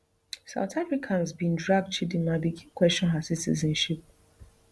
south africans bin drag chidimma begin question her citizenship